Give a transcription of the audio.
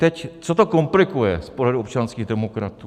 Teď co to komplikuje z podhledu občanských demokratů?